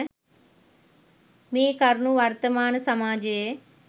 මේ කරුණු වර්තමාන සමාජයේ